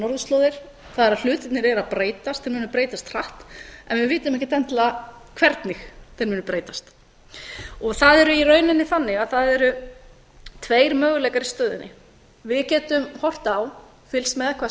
það er að hlutirnir eru að breytast þeir munu breytast hratt en við vitum ekkert endilega hvernig þeir munu breytast það er í rauninni þannig að það eru tveir möguleikar í stöðunni við getum horft á fylgst með hvað